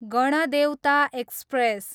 Ganadevata express